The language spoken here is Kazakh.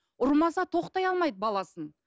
ұрмаса тоқтай алмайды баласын